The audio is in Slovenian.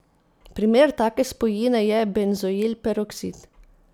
Primer take spojine je benzoil peroksid.